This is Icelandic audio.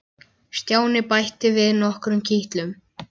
Stjáni bætti við nokkrum kitlum.